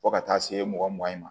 Fo ka taa se mɔgɔ mugan ye ma